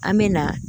An me na